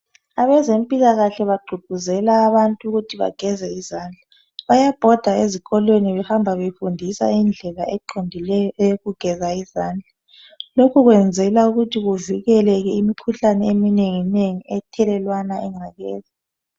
Abezempilakahle bagqugquzela abantu ukuthi bageze izandla bayabhoda ezikolweni behamba befundisa indlela eqondileyo eyokugeza izandla loku kuvikela imikhuhlane iminengi ethelelwa yincekeza.